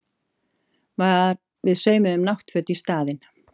Við saumum náttföt í staðinn